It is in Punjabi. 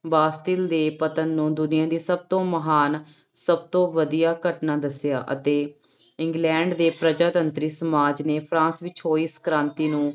ਬਾਸਤੀਲ ਦੇ ਪਤਨ ਨੂੰ ਦੁਨੀਆਂ ਦੀ ਸਭ ਤੋਂ ਮਹਾਨ ਸਭ ਤੋਂ ਵਧੀਆ ਘਟਨਾ ਦੱਸਿਆ ਅਤੇ ਇੰਗਲੈਂਡ ਦੇ ਪ੍ਰਜਾ ਤੰਤਰੀ ਸਮਾਜ ਨੇ ਫਰਾਂਸ ਵਿੱਚ ਹੋਈ ਇਸ ਕ੍ਰਾਂਤੀ ਨੂੰ